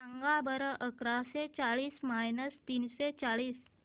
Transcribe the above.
सांगा बरं अकराशे चाळीस मायनस तीनशे चाळीस